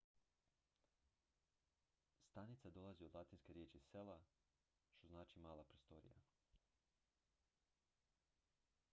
stanica dolazi od latinske riječi cella što znači mala prostorija